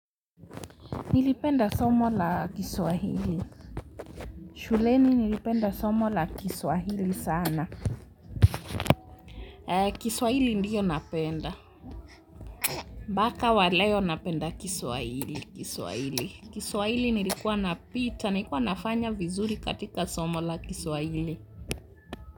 Nilipenda somo la Kiswahili. Shuleni nilipenda somo la Kiswahili sana Kiswahili ndiyo napenda mbaka waleo napenda Kiswahili Kiswahili. Kiswahili nilikuwa napita. Nalikuwa nafanya vizuri katika somo la Kiswahili.